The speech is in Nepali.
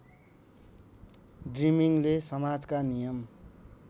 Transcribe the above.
ड्रिमिङगले समाजका नियम